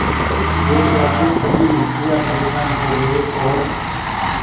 इस घोषणा से सभी मुखिया परेशान हो गए और